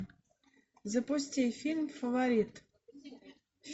запусти фильм фаворит